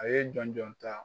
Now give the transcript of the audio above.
A ye jɔn jɔn ta